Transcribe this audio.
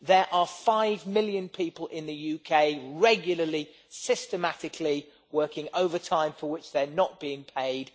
There are five million people in the UK regularly, systematically working overtime for which they are not being paid.